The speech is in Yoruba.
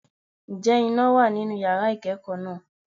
Ǹjẹ́ iná wà nínú yàrá ìkẹ́kọ̀ọ́ náà?